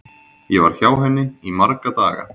Ég var hjá henni í marga daga.